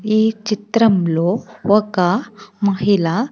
ఈ చిత్రంలో ఒక మహిళ.